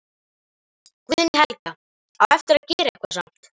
Guðný Helga: Á eftir að gera eitthvað samt?